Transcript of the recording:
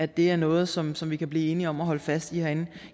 det er noget som som vi kan blive enige om at holde fast i herinde